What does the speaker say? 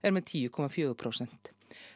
með tíu komma fjögur prósent